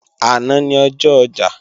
Àná ni ọjọ́ ọjà